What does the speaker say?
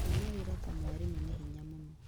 Kuona wĩra ta mwarimũ nĩ hinya mũno